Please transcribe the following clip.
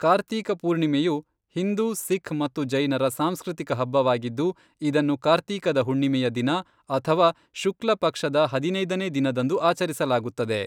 ಕಾರ್ತೀಕ ಪೂರ್ಣಿಮೆಯು ಹಿಂದೂ, ಸಿಖ್ ಮತ್ತು ಜೈನರ ಸಾಂಸ್ಕೃತಿಕ ಹಬ್ಬವಾಗಿದ್ದು, ಇದನ್ನು ಕಾರ್ತೀಕದ ಹುಣ್ಣಿಮೆಯ ದಿನ ಅಥವಾ ಶುಕ್ಲಪಕ್ಷದ ಹದಿನೈದನೇ ದಿನದಂದು ಆಚರಿಸಲಾಗುತ್ತದೆ.